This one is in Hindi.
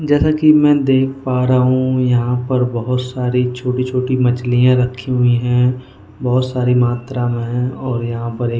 जैसा कि मैं देख पा रहा हूं यहां पर बहुत सारी छोटी-छोटी मछलियां रखी हुई हैं बहुत सारी मात्रा में हैं और यहां पर।